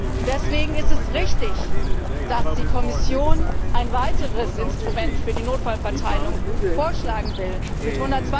Und deswegen ist es richtig, dass die Kommission ein weiteres Instrument für die Notfallverteilung vorschlagen will,